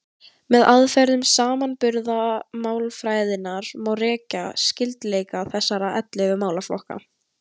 Með aðferðum samanburðarmálfræðinnar má rekja skyldleika þessara ellefu málaflokka.